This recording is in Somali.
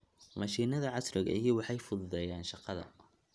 Mashiinnada casriga ahi waxay fududeeyaan shaqada.